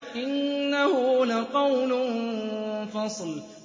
إِنَّهُ لَقَوْلٌ فَصْلٌ